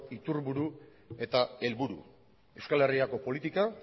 iturburu eta helburu euskal herriko politika